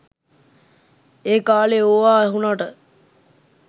ඒ කාලේ ඕවා ඇහුනට